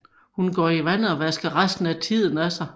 Hun går til havet og vasker resten af tiden af sig